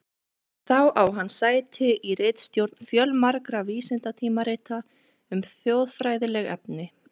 Þá á hann sæti í ritstjórn fjölmargra vísindatímarita um þjóðfræðileg efni.